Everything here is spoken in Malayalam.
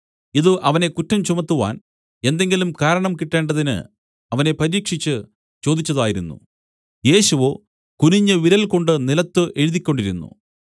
ഇതു അവനെ കുറ്റം ചുമത്തുവാൻ എന്തെങ്കിലും കാരണം കിട്ടേണ്ടതിന് അവനെ പരീക്ഷിച്ച് ചോദിച്ചതായിരുന്നു യേശുവോ കുനിഞ്ഞു വിരൽകൊണ്ട് നിലത്തു എഴുതിക്കൊണ്ടിരുന്നു